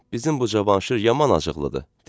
Bizim bu Cavanşir yaman acıqlıdır, dedi.